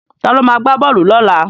Ta ló ma gbá bọ́ọ̀lù lọ́la?